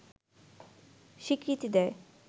স্বীকৃতি দেয়